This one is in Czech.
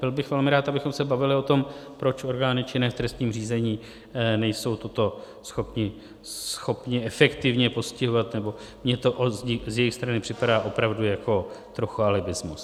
Byl bych velmi rád, abychom se bavili o tom, proč orgány činné v trestním řízení nejsou toto schopny efektivně postihovat, nebo mně to z jejich strany připadá opravdu jako trochu alibismus.